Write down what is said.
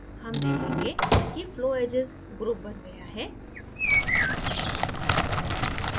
हम देखेंगे कि flowedges group बन गया है